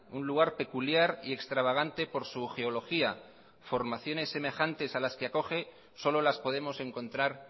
un lugar peculiar y extravagante por su geología formaciones semejantes a las que acoge solo las podemos encontrar